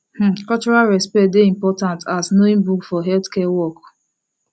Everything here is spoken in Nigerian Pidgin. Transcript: um cultural respect dey important as knowing book for healthcare work